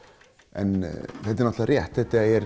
en þetta er rétt þetta er